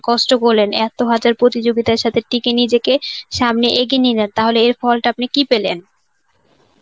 কষ্ট করলেন. এত হাজার প্রতিযোগিতার সাথে টিকে নিজেকে সামনে এগিয়ে নিয়ে যান. তাহলে এর ফলটা আপনি কি পেলেন?